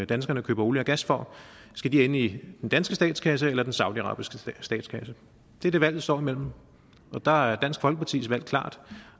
danskerne køber olie og gas for ende i den danske statskasse eller i den saudiarabiske statskasse det er det valget står imellem og der er dansk folkepartis valg klart